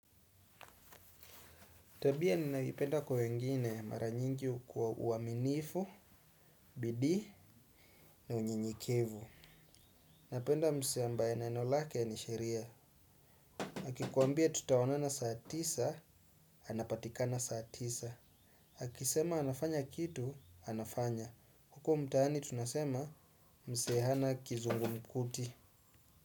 Tabia ninayoipenda kwa wengine mara nyingi kwa uaminifu, bidii na unyenyekevu. Napenda msee ambaye neno lake ni sheria akikuambia tutaonana saa tisa, anapatikana saa tisa akisema anafanya kitu, anafanya. Huko mtani tunasema msee hana kizungumkuti.